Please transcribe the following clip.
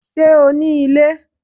Ṣé o ní ilé?